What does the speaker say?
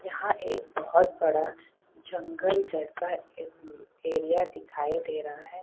यहां एक बहत बड़ा जंगल जैसा ए एरिया दिखाई दे रहा है।